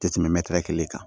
Tɛ tɛmɛ kelen kan